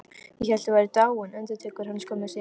Ég hélt þið væruð dáin, endurtekur hann skömmu síðar.